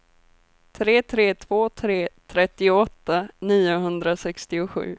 tre tre två tre trettioåtta niohundrasextiosju